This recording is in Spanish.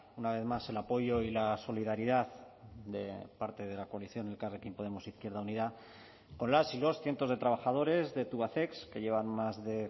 una vez más el apoyo y la solidaridad de parte de la coalición elkarrekin podemos izquierda unida con las y los cientos de trabajadores de tubacex que llevan más de